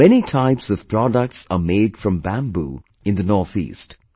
Many types of products are made from bamboo in the Northeast